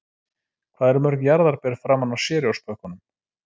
Hvað eru mörg jarðarber framan á Cheerios-pökkunum?